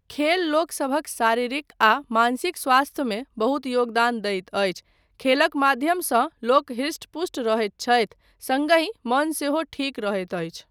खेल लोकसभक शारीरिक आ मानसिक स्वास्थ्य में बहुत योगदान दैत अछि, खेलक माध्यमसँ लोक हृष्ट पुष्ट रहैत छथि सङ्ग हि मन सेहो ठीक रहैत अछि।